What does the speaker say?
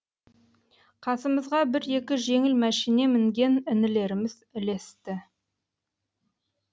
қасымызға бір екі жеңіл мәшине мінген інілеріміз ілесті